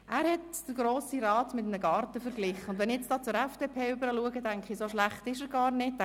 Er verglich den Grossen Rat mit einem Garten, und wenn ich nun zur FDP blicke, scheint mir dieser Vergleich gar nicht so schlecht.